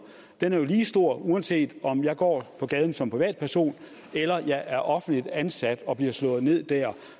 er jo lige stor uanset om man går på gaden som privatperson eller man er offentligt ansat og bliver slået ned der